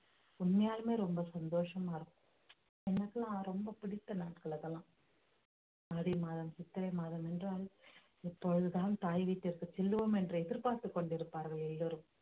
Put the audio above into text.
உண்மையாலுமே ரொம்ப சந்தோஷமா இருக்கும் எனக்குலாம் ரொம்ப பிடித்த நாட்கள் அதெல்லாம் ஆதி மாதம் சித்திரை மாதம் என்றால் எப்பொழுதுதான் தாய் வீட்டிற்கு செல்லுவோம் என்று எதிர்பார்த்துக் கொண்டிருப்பார்கள் எல்லாரும்